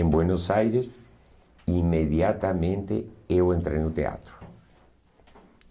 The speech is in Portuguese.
Em Buenos Aires, imediatamente eu entrei no teatro.